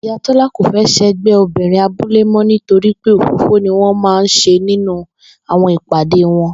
Ìyá Tó̩lá kò fé̩ s̩e̩gbé̩ obìnrin abúlé mó̩ nítorí pé òfófó ni wó̩n máa ń s̩e nínú àwo̩n ìpàdé wo̩n